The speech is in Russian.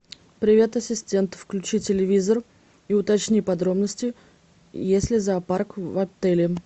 привет ассистент включи телевизор и уточни подробности есть ли зоопарк в отеле